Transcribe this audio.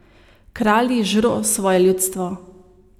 Kralji žro svoje ljudstvo!